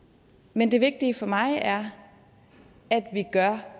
men det vigtige for mig er at vi gør